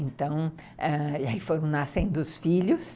Então, aí foram nascendo os filhos.